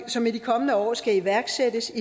som i de kommende år skal iværksættes